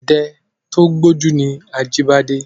Ọdẹ tó gbójú ni Ajíbọ́lá.